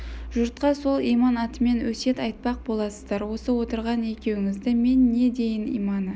жұртқа сол иман атымен өсиет айтпақ боласыздар осы отырған екеуіңізді мен не дейін иманы